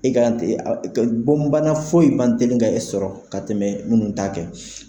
E bɔn bana fɔyi man teli ka e sɔrɔ ka tɛmɛ minnu t'a kɛ kan.